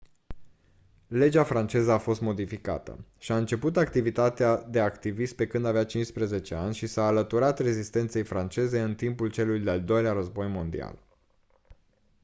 legea franceză a fost modificată și-a început activitatea de activist pe când avea 15 ani și s-a alăturat rezistenței franceze în timpul celui de-al doilea război mondial